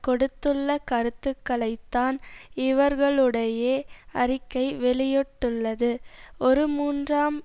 கொடுத்துள்ள கருத்துக்களை தான் இவர்களுடைய அறிக்கை வெளியிட்டுள்ளது ஒரு மூன்றாம்